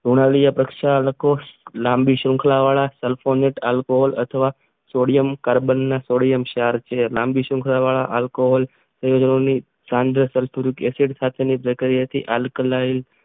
હુનાલિયા પ્રક્ષાલકો લાંબી શૃંખલાવાળા સેલફોન ઈટ આલ્કોહોલ અથવા સોડિયમ કાર્બન સોડિયમ ક્ષાર છે લાંબી શૃંખલાવાળા આલ્કોહોલ ની પ્રક્રિયા વળે આલ્કલન